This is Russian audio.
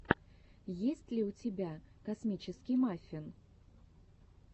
есть ли у тебя космический маффин